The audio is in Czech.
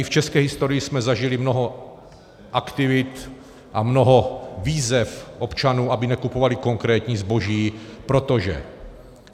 I v české historii jsme zažili mnoho aktivit a mnoho výzev občanů, aby nekupovali konkrétní zboží, protože...